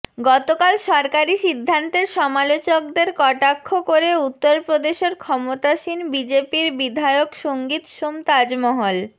গতকাল সরকারি সিদ্ধান্তের সমালোচকদের কটাক্ষ করে উত্তরপ্রদেশে ক্ষমতাসীন বিজেপির বিধায়ক সঙ্গীত সোম তাজমহল